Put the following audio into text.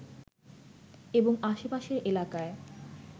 এবং আশেপাশের এলাকায়